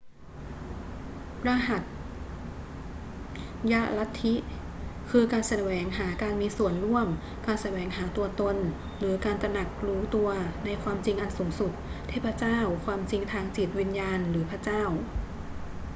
รหัสยลัทธิ คือการแสวงหาการมีส่วนร่วม การแสวงหาตัวตน หรือการตระหนักรู้ตัว ในความจริงอันสูงสุด เทพเจ้า ความจริงทางจิตวิญญาณ หรือพระเจ้า